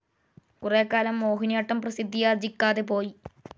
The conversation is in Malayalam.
കുറെകാലം മോഹിനിയാട്ടം പ്രസിദ്ധിയാർജ്ജിക്കാതെ പോയി.